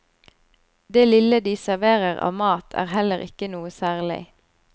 Det lille de serverer av mat er heller ikke noe særlig.